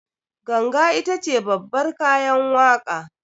Ganga itace babbar kayan waƙa